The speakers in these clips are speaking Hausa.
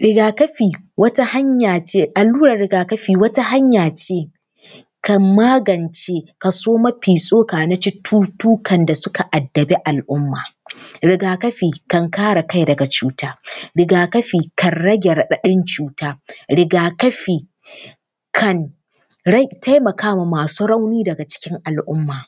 Riga-kafi wata hanya ce, allurar riga-kafi wata hanya ce, kan magance kaso mafi tsoka na cututtukan da suka addabi al’umma. Riga-kafi kan kare kai daga cuta. Riga-kafi kan rage raɗaɗin cuta. Riga-kafi kan taimaka wa masu rauni daga cikin al’umma.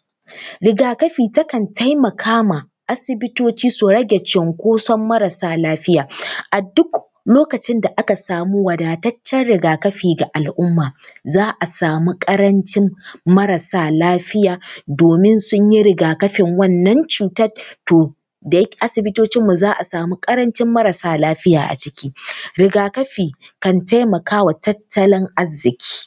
Riga-kafi takan taimaka ma asibitoci su rage cunkoson marasa lafiya. A duk lokacin da aka samu wadataccen riga-kafi ga al’umma, za a samu ƙarancin marasa lafiya domin sun yi riga-kafin wannan cutar, to asibitocinmu za a samu ƙarancin marasa lafiya a ciki. Riga-kafi kan taimaka wa tattalin arziki.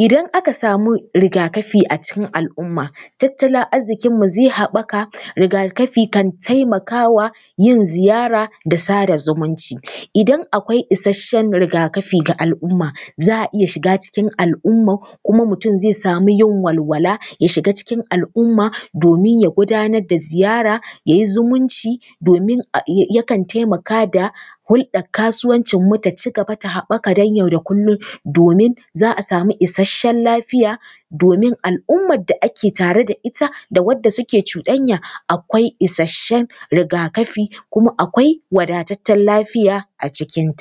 Idan aka samu riga-kafi a cikin al’umma, tattalin arzikinmu zai haɓaka. Riga-kafi kan taimaka wa yin ziyara da sada zumunci. Idan akwai isasshen riga-kafi ga al’umma, za a iya shiga cikin al’ummar kuma mutum zai samu yin walwala, ya shiga cikin al’umma domin ya gudanar da ziyara, ya yi zumunci, domin yakan taimaka da hulɗar kasuwancinmu ta ci gaba ta haɓaka dai yau da kullum domin za a samu isasshen lafiya domin al’ummar da ake tare da ita da wadda suke cuɗanya akwai isasshen riga-kafi kuma akwai wadataccen lafiya a cikin.